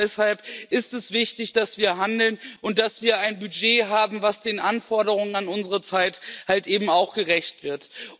Und gerade deshalb ist es wichtig, dass wir handeln und dass wir ein Budget haben, das den Anforderungen unserer Zeit eben auch gerecht wird.